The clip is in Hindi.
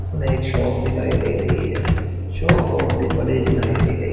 हमें एक शॉप दिखाई दे रही है। शॉप बहुत ही बड़ी दिखाई दे रही--